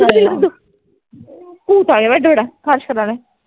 ਚਲ ਪੀ ਲੈ ਦੁੱਧੁ ਭੂਤ ਆਇਆ